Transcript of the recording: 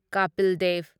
Kapil Dev